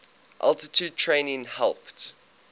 altitude training helped